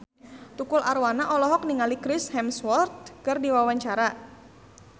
Tukul Arwana olohok ningali Chris Hemsworth keur diwawancara